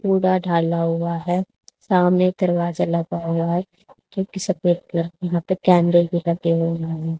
पुरा ढाला हुआ है सामने दरवाजा लगा हुआ है जोकि सफेद कलर की यहां पे कैंडल भी लगे हुए हैं।